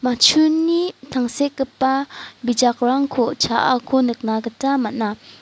matchuni tangsekgipa bijakrangko cha·ako nikna gita man·a.